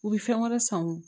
U bɛ fɛn wɛrɛ san u ye